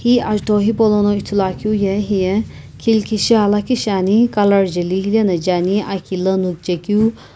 hi ajutho hipaulono ithulualeu ye hiye khilkishi aa lakhi shiani color jeli hilena je ani aki lo nuchekeu.